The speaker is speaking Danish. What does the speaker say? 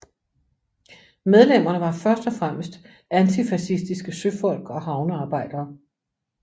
Medlemmerne var først og fremmest antifascistisk søfolk og havnearbejdere